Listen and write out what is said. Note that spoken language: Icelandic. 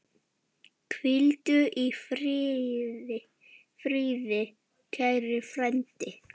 Hvíldu í friði, kæri frændi.